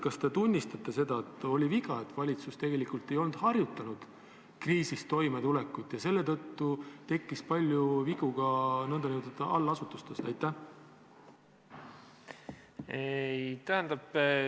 Kas te tunnistate seda, et oli viga, et valitsus tegelikult ei olnud harjutanud kriisis toimetulekut ja selle tõttu tekkis palju vigu ka allasutustes?